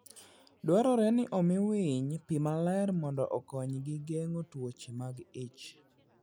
Dwarore ni omi winy pi maler mondo okonygi geng'o tuoche mag ich.